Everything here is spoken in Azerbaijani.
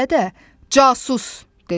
Dələ də: “Casus!” dedi.